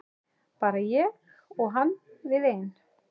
Bara ég og hann við ein.